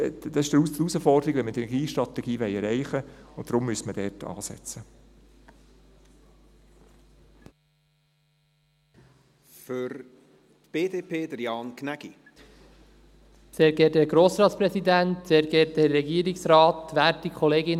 Das ist die Herausforderung, wenn wir die Energiestrategie erreichen wollen, und deshalb müsste man dort ansetzen.